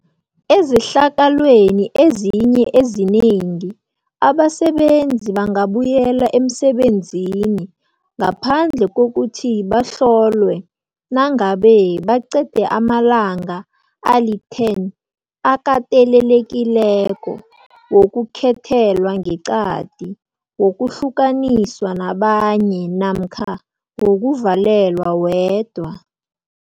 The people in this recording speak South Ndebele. Ezehlakalweni ezinye ezinengi abasebenzi bangabuyela emsebenzini ngaphandle kokuthi bahlolwe nangabe, baqede amalanga ali-10 akatelelekileko wokukhethelwa ngeqadi, wokuhlukaniswa nabanye namkha wokuvalelwa wedwa.